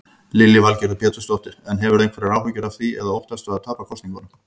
Lillý Valgerður Pétursdóttir: En hefurðu einhverjar áhyggjur af því eða óttastu að tapa kosningunum?